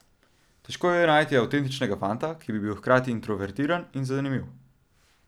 Težko je najti avtentičnega fanta, ki bi bil hkrati introvertiran in zanimiv.